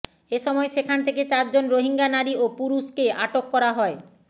এ সময় সেখান থেকে চারজন রোহিঙ্গা নারী ও পুরুষকে আটক করা হয়